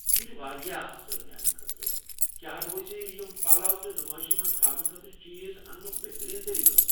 یہِ چھُ واریاہ اصٕل۔ میٛانہِ خٲطرٕ کیٛاہ روزِ یم پلو تہٕ نُمٲیشہِ منٛز تھاونہٕ خٲطرٕچیز انٛنُک بہترین طریٖقہٕ ؟